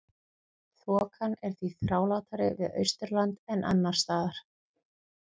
Þokan er því þrálátari við Austurland en annars staðar.